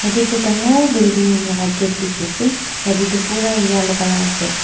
etu ekta dangor building laga gate dekhi yatae toh pura yellow colour asa.